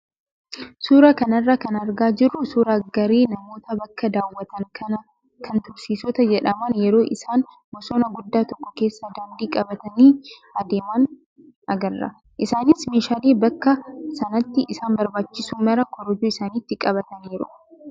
Suuraa kana irraa kan argaa jirru suuraa garee namoota bakka daawwatan kan turistoota jedhaman yeroo isaan bosona guddaa tokko keessa daandii qabatanii adeeman agarra. Isaanis meeshaalee bakka sanatti isaan barbaachisu maraa korojoo isaaniitti qabataniiru.